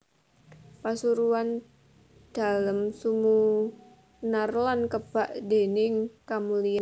Pasuryan Dalem sumunar lan kebak déning kamulyan